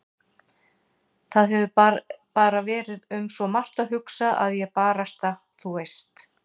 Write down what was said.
Það hefur bara verið um svo margt að hugsa að ég barasta. þú veist.